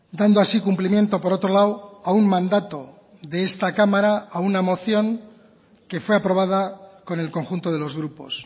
dando así cumplimiento por otro lado a un mandato de esta cámara a una moción que fue aprobada con el conjunto de los grupos